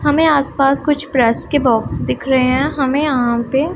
हमे आस पास कुछ प्रेस की बॉक्स दिख रहे है हमे यहां पे--